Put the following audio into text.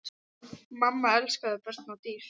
Mamma elskaði börn og dýr.